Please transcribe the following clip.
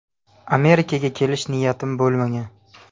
Amerikaga kelish niyatim bo‘lmagan.